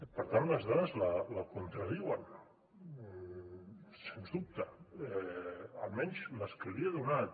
per tant les dades la contradiuen sens dubte almenys les que li he donat